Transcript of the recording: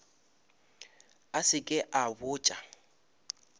a se ke a botša